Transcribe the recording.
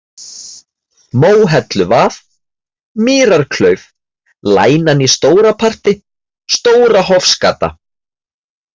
Móhelluvað, Mýrarklauf, Lænan í Stóraparti, Stóra-Hofsgata